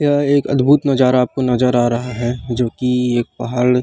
यह एक अद्भुत नज़ारा आपको नज़र आ रहा है जो की एक पहाड़ --